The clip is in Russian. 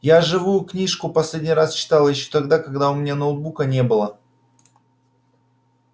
я живую книжку последний раз читал ещё тогда когда у меня ноутбука не было